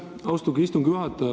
Aitäh, austatud istungi juhataja!